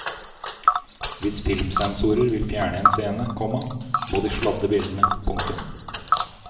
Hvis filmsensorer vil fjerne en scene, komma må de sladde bildene. punktum